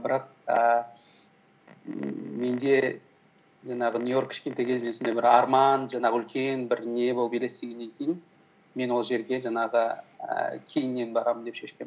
бірақ ііі менде жаңағы нью йорк кішкентай кезімнен сондай бір арман жаңағы үлкен бір не болып елестегеннен кейін мен ол жерге жаңағы ііі кейіннен барамын деп шешкенмін